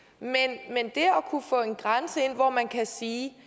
at kunne få en grænse ind hvor man kan sige